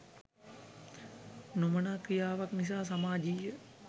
නොමනා ක්‍රියාවක් නිසා සාමාජීය